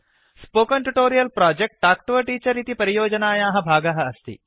spoken tutorial project talk to a teacher इति परियोजनायाः भागः अस्ति